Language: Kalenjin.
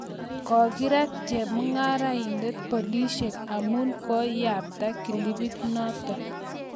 kokirat chepmnngarain polishek amu kuiyapta clipit nato